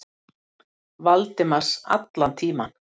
Valdimars allan tímann.